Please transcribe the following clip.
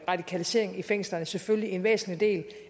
radikalisering i fængslerne selvfølgelig en væsentlig del